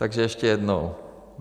Takže ještě jednou.